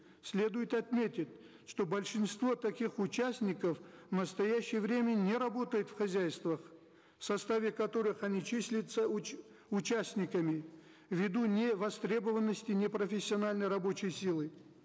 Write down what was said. следует отметить что большинство таких участников в настоящее время не работают в хозяйствах в составе которых они числятся участниками в виду невостребованности непрофессиональной рабочей силы